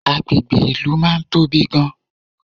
Agbègbè ìlú máa ń tóbi gan